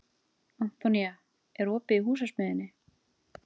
Antonía, er opið í Húsasmiðjunni?